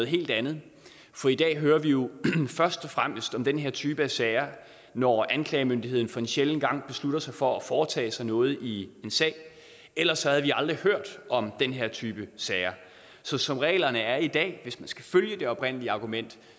helt andet for i dag hører vi jo først og fremmest om den her type af sager når anklagemyndigheden en sjælden gang beslutter sig for at foretage sig noget i en sag ellers havde vi aldrig hørt om den her type sager så som reglerne er i dag hvis man skal følge det oprindelige argument